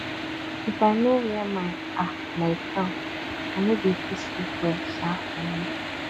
if i no wear my um nightgown i no dey fit sleep well um for night